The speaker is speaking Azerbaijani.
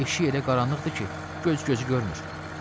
Eşik elə qaranlıqdır ki, göz gözü görmür.